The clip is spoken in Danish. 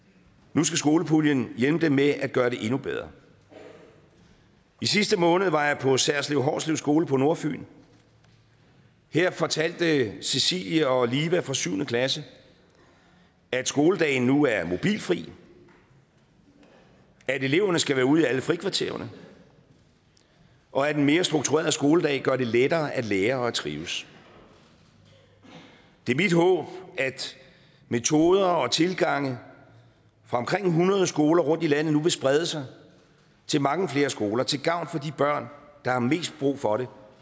nu skal skolepuljen hjælpe dem med at gøre det endnu bedre i sidste måned var jeg på særslev hårslev skole på nordfyn her fortalte cecilie og liva fra syvende klasse at skoledagen nu er mobilfri at eleverne skal være ude i alle frikvartererne og at en mere struktureret skoledag gør det lettere at lære og at trives det er mit håb at metoder og tilgange fra omkring hundrede skoler rundt i landet nu vil sprede sig til mange flere skoler til gavn for de børn der har mest brug for det